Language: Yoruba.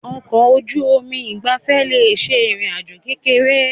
Ọkọ̀ ojú omi ìgbafẹ́ le ṣe ìrìn àjò kékeré.